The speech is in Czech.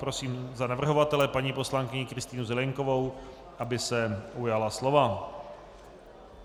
Prosím za navrhovatele paní poslankyni Kristýnu Zelienkovou, aby se ujala slova.